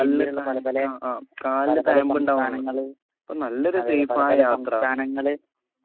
കാലിന് ആ ആ ആകാലിന് തയംബിണ്ടാവാൻ ഇപ്പൊ നല്ലൊരു സേഫായ യാത്ര